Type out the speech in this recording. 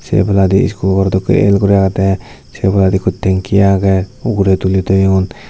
se ebeladi score dokke el guri agede sw oboladi ikko tenki agey ugure tuli toyon.